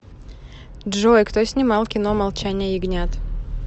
джой кто снимал кино молчание ягнят